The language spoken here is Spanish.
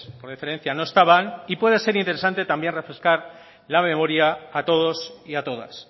por deferencia no estaban y puede ser interesante también refrescar la memoria a todos y a todas